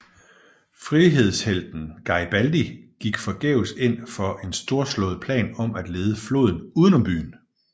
Frihedshelten Garibaldi gik forgæves ind for en storslået plan om at lede floden uden om byen